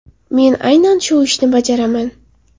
Men aynan shu ishni bajaraman.